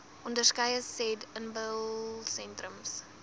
onderskeie said inbelsentrums